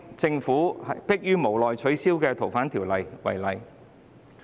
政府去年逼於無奈取消《逃犯條例》。